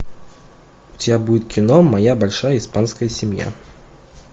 у тебя будет кино моя большая испанская семья